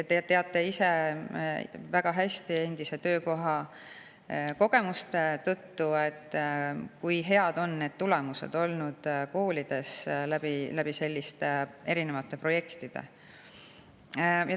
Te teate ise väga hästi oma endiselt töökohalt saadud kogemuste tõttu, kui head on need tulemused olnud koolides selliste erinevate projektide tõttu.